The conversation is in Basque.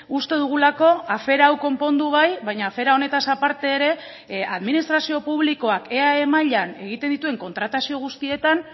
uste dugulako afera hau konpondu bai baina afera honetaz aparte ere administrazio publikoak eae mailan egiten dituen kontratazio guztietan